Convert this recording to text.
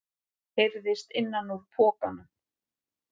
heyrðist innan úr pokanum.